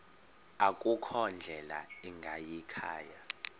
akukho ndlela ingayikhaya